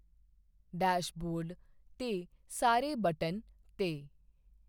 dashboard 'ਤੇ ਸਾਰੇ button 'ਤੇ